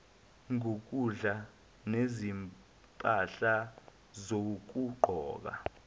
ngokudla ngezimpahla zokugqoka